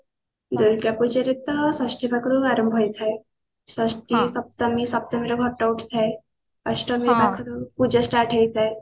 ଦୁର୍ଗାପୂଜାରେ ତ ଷଷ୍ଠୀ ପାଖରୁ ଆରମ୍ଭ ହେଇଥାଏ ଷଷ୍ଠୀ ସପ୍ତମୀ ସପ୍ତମୀ ର ଘଟ ଉଠିଥାଏ ଅଷ୍ଟମୀ ପାଖରୁ ପୂଜା start ହେଇଥାଏ